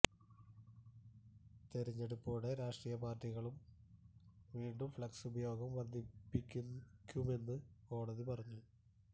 തിരഞ്ഞെടുപ്പോടെ രാഷ്ടീയ പാര്ട്ടികളും വീണ്ടും ഫ്ളക്സ് ഉപയോഗം വര്ധിപ്പിക്കുമെന്ന് കോടതി പറഞ്ഞു